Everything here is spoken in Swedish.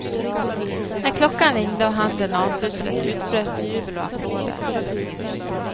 När klockan ringde och handeln avslutades utbröt jubel och applåder.